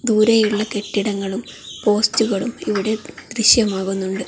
ദൂരെയുള്ള കെട്ടിടങ്ങളും പോസ്റ്റുകളും ഇവിടെ ദൃശ്യമാകുന്നുണ്ട്.